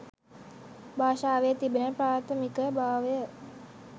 භාෂාවේ තිබෙන ප්‍රාථමික භාවය.